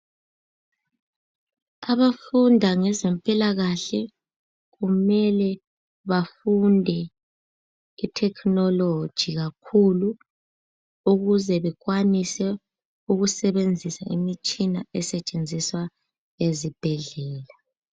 Abafunda ngezempilakahle kumele bafunde ithekhinoloji kakhulu ukuze bekwanise ukusebenzisa imitshina esetshenziswa ezibhedlela.